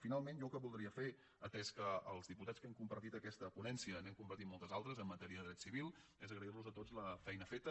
finalment jo el que voldria fer atès que els diputats que hem compartit aquesta ponència n’hem compartit moltes altres en matèria de dret civil és agrair los a tots la feina feta